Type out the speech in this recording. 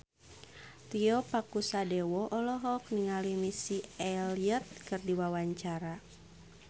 Tio Pakusadewo olohok ningali Missy Elliott keur diwawancara